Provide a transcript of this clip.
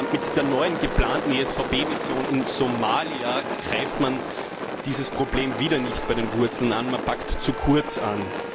Mit der neuen geplanten ESVP Mission in Somalia greift man dieses Problem wieder nicht bei den Wurzeln an, man packt zu kurz an.